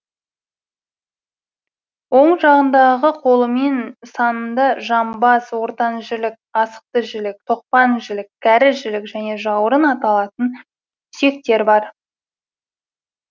оң жағындағы қолы мен санында жамбас ортан жілік асықты жілік тоқпан жілік кәрі жілік және жауырын аталатын сүйектер бар